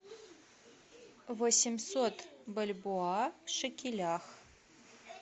восемьсот бальбоа в шекелях